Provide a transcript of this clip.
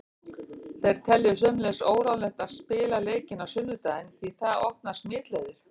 Þeir telja sömuleiðis óráðlegt að spila leikinn á sunnudaginn því það opnar smitleiðir.